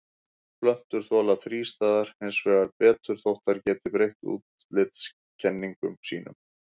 Plöntur þola þrístæður hins vegar betur þótt þær geti breytt útlitseinkennum þeirra.